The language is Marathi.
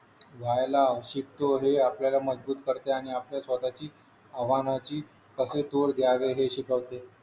व्हायला शिकतो हे आपल्याला मजबूत करते आणि आपल्या स्वतःची आव्हानाची कसे तोड द्यावी हे शिकवते